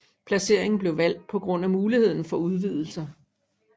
Placeringen blev valgt på grund af muligheden for udvidelser